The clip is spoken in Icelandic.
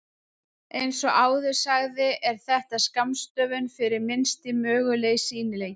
Eins og áður sagði er þetta skammstöfun fyrir Minnsti mögulegi sýnileiki.